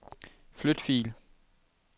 Flyt fil.